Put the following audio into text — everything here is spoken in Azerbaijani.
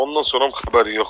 Ondan sonra xəbər yoxdur.